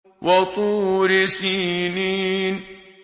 وَطُورِ سِينِينَ